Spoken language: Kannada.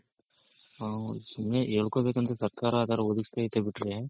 ಹ್ಮ್ ಹಿಂಗೆ ಹೇಳ್ಕೋಬೆಕಂದ್ರೆ ಸರ್ಕಾರ ಅದನ್ನ ಒದಗಿಸ್ತೈತೆ ಬಿಟ್ರೆ